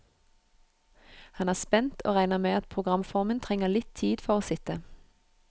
Han er spent, og regner med at programformen trenger litt tid for å sitte.